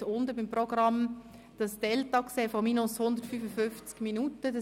Sie haben unten im Programm das Delta von minus 155 Minuten gesehen.